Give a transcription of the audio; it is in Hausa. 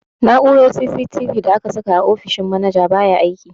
Na'urar CCTV da aka saka a ofishin manaja baya aiki.